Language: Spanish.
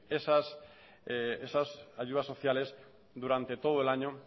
esas ayudas sociales durante todo el año